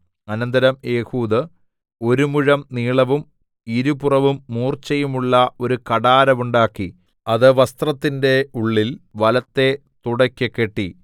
അനന്തരം ഏഹൂദ് ഒരു മുഴം നീളവും ഇരുപുറവും മൂർച്ചയുമുള്ള ഒരു കഠാര ഉണ്ടാക്കി അത് വസ്ത്രത്തിന്റെ ഉള്ളിൽ വലത്തെ തുടെക്കു കെട്ടി